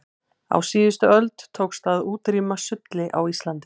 á síðustu öld tókst að útrýma sulli á íslandi